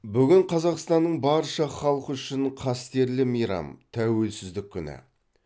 бүгін қазақстанның барша халқы үшін қастерлі мейрам тәуелсіздік күні